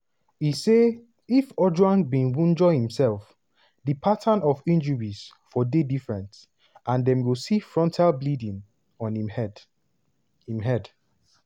e say if ojwang bin wunjure imsef di pattern of injuries for dey different and dem go see frontal bleeding on im head. im head.